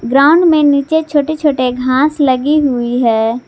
Ground में नीचे छोटे छोटे घास लगी हुई है।